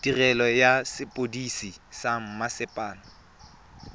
tirelo ya sepodisi sa mmasepala